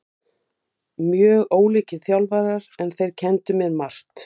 Ásakanirnar á hendur honum voru hatrammar en óljósar og brot hans ekki nákvæmlega tilgreind.